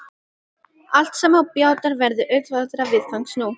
Allt sem á bjátar verður auðveldara viðfangs nú.